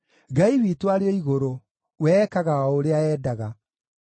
Ngai witũ arĩ o igũrũ; we ekaga o ũrĩa endaga.